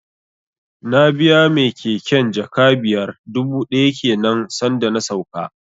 Na biya mai keken jaka biyar dubu ɗaya kenan san da na sauka